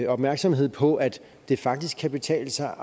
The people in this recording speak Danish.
opmærksomhed på at det faktisk kan betale sig